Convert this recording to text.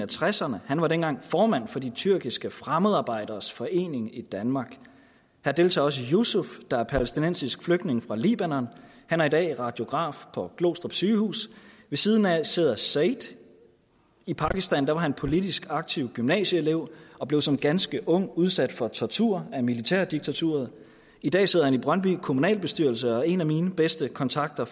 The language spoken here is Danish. tresserne han var dengang formand for de tyrkiske fremmedarbejderes forening i danmark her deltager også youssef der er palæstinensisk flygtning fra libanon han er i dag radiograf på glostrup sygehus ved siden af sidder syed i pakistan var han politisk aktiv gymnasielev og blev som ganske ung udsat for tortur af militærdiktaturet i dag sidder han i brøndby kommunalbestyrelse og er en af mine bedste kontakter